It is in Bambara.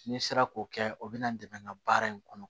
N'i sera k'o kɛ o bɛ na n dɛmɛ n ka baara in kɔnɔ